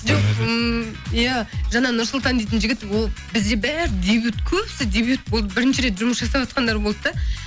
жоқ ммм иә жаңа нұрсұлтан дейтін жігіт ол бізде бәрі дебют көбісі дебют болды бірінші рет жұмыс жасаватқандар болады да